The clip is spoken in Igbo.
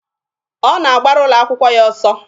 Ọ na-agbara ụlọ akwụkwọ ya ọsọ.